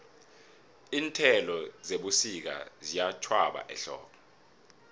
iinthelo zebusika ziyatjhwaba ehlobo